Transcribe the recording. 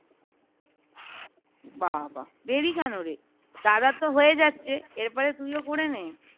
বাবা! দেরি কেন রে দাদার তো হয়ে যাচ্ছে এর পরে তুইও করে না